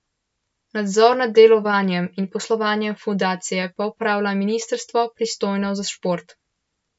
Nadzor nad delovanjem in poslovanjem fundacije pa opravlja ministrstvo, pristojno za šport.